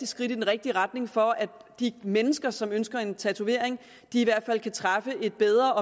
skridt i den rigtige retning for at de mennesker som ønsker en tatovering i hvert fald kan træffe et bedre